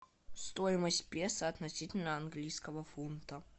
стоимость песо относительно английского фунта